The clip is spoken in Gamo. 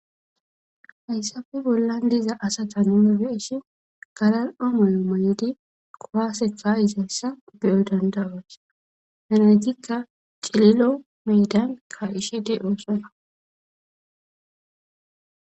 Haydappe bolla diza asata nun betishn galali'o mayo mayid kuwase ka'izaysa beyo danda'os. Hegetika cililo medan ka'ishe de'osona.